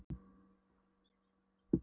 Einnig var hann símstjóri á Eskifirði.